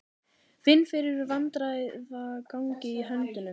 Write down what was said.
Finn fyrir vandræðagangi í höndunum.